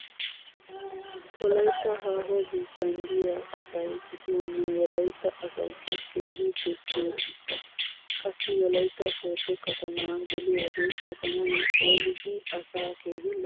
Wolaytta haaho biittan diya asay gidin nu wolaytta asaykka keehin dosiyo biitta. Qassi wolaytta sooddo katama geliyode katamay phoolidi asaa keehi lo'ees.